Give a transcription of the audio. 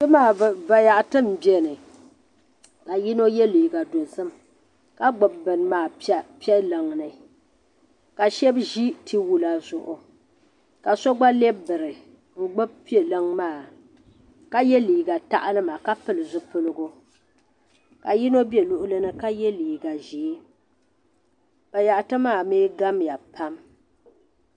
Bini maa bayaɣiti mbɛ ni ka yino yiɛ liiga dozim ka gbubi bini maa piɛ liŋ ni ka shɛb zi ti wula Zuɣu ka so gba lɛb biri n gbubi piɛ liŋ maa ka yiɛ liiga taɣilima ka pili zipiligu ka yino bɛ luɣili ni ka yiɛ liiga ʒɛɛ bayaɣiti maa mi gamya pam.